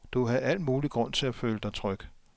Du havde al mulig grund til at føle dig tryg.